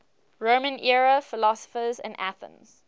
roman era philosophers in athens